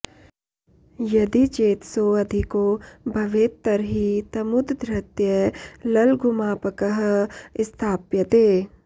यदि चेत् सोऽधिको भवेत् तर्हि तमुद्धृत्य ललघुमापकः स्थाप्यते